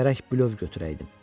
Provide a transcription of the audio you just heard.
Gərək bilöv götürəydim.